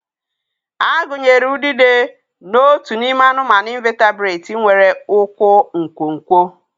A gụnyere udide na ọtú n'ime anụmanụ invatibrati nwere ụkwụ nkwonkwo